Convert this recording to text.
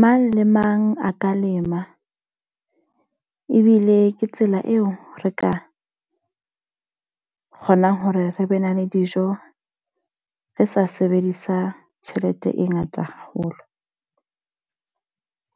Mang le mang a ka lema. Ebile ke tsela eo re ka kgonang hore re be na le dijo re sa sebedisa tjhelete e ngata haholo.